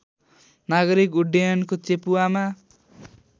नागरिक उड्डयनको चेपुवामा